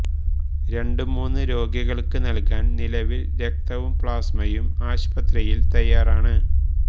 രണ്ട് മൂന്ന് രോഗികള്ക്ക് നല്കാന് നിലവില് രക്തവും പ്ലാസ്മയും ആശുപത്രിയില് തയ്യാറാണ്